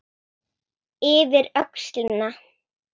Yfir öxlina.